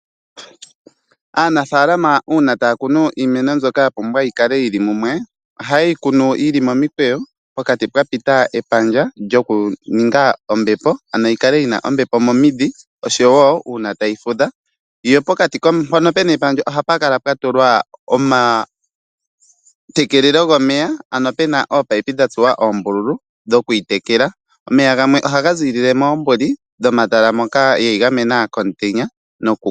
Aanafalama una taya kunu iimeno mbyoka yapumbwa yikale yili mumwe, ohaye yi kunu yili momikweyo pokati pwa pita epandja lyoku ninga ombepo ano yi kale yina ombepo momidhi oshowo una tayi fudha. Pokati mpono puna epandja ohapu kala pwatulwa omatekelelo gomeya ano puna oopaipi dhatsuwa oombululu dhokuyi tekela, omeya gamwe ohaga zilile mombuli dhomatala moka dheyi gamena komutenya.